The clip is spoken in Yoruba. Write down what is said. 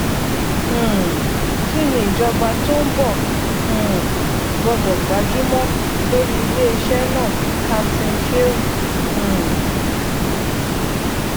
um kí ni ìjọba tó ń bọ um gbọdọ gbájúmọ lórí iléeṣẹ náà captain Sheu um